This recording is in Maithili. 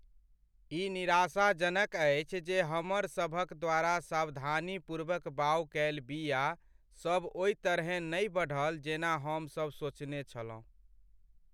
ई निराशाजनक अछि जे हमर सभक द्वारा सावधानीपूर्वक बाउग कएल बीया सब ओहि तरहेँ नहि बढ़ल जेना हम सभ सोचने छलहुँ।